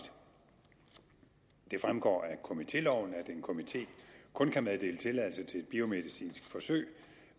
det fremgår af komitéloven at en komité kun kan meddele tilladelse til et biomedicinsk forsøg